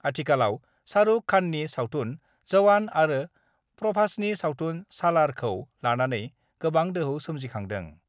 आथिखालाव शाहरुख खाननि सावथुन 'जवान' आरो प्रभासनि सावथुन 'सालार' खौ लानानै गोबां दोहौ सोमजिखांदों।